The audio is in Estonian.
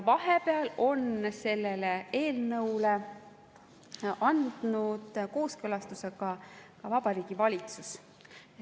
Vahepeal on eelnõule andnud kooskõlastuse ka Vabariigi Valitsus.